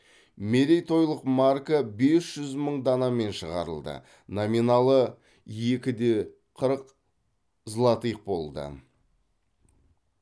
мерейтойлық марка бес жүз мың данамен шығарылды номиналы екі де қырық злотых болды